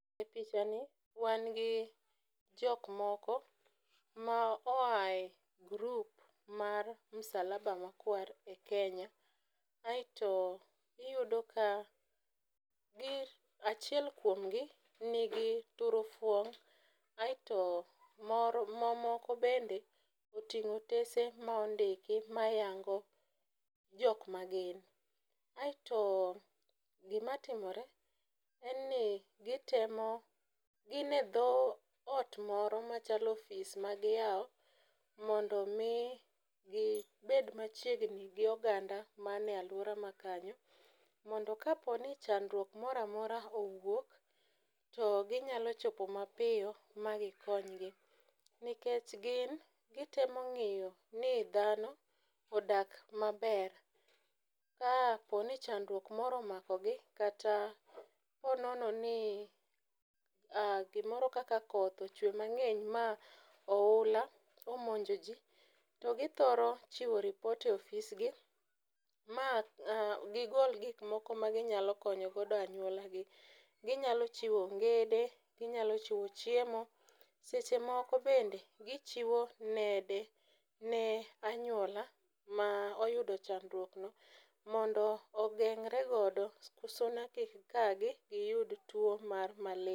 E pichani, wan gi jok moko ma oya e group mar msalaba makwar e Kenya. Aito iyudo ka, achiel kuomgi, nigi turufuong',aito mamoko bende oting'o otese ma ondiki mayango jok ma gin. Aito gima timore, en ni gitemo, gin e dho ot moro machalo ofis ma giyawo mondo mi gibed machiegni gi oganda man e aluora ma kanyo. Mondo ka poni chandruok moro amora owuok, to ginyalo chopo mapiyo ma gikonygi nikech gin gitemo ng'iyo ni dhano odak maber. Ka poni chandruok moro omakogi, kata po nono ni gimoro kaka koth ochwee mang'eny ma ohula omonjo ji, to githoro chiwo ripot e ofisgi, ma gigol gik moko ma ginyalo konyo godo anywolagi. Ginyalo chiwo ongede, ginyalo chiwo chiemo, seche moko bende gichiwo nede ne anywola ma oyudo chandruokno, mondo ogeng'regodo suna kik kagi giyud two mar malaria.